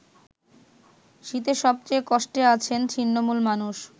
শীতে সবচেয়ে কষ্টে আছেন ছিন্নমূল মানুষ।